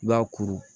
I b'a kuru